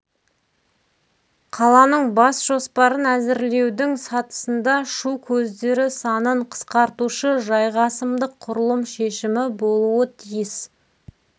қаланың бас жоспарын әзірлеудің сатысында шу көздері санын қысқартушы жайғасымдық құрылым шешімі болуы тиіс